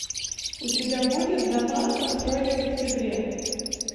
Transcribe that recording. у тебя будет дома построенные в октябре